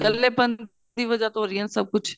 ਕੱਲੇ ਬੰਦੇ ਦੀ ਵਜਾ ਤੋਂ ਹੋ ਰਹੀਆਂ ਸਭ ਕੁੱਝ